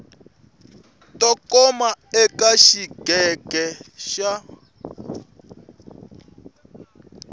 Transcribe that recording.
to koma eka xiyenge xa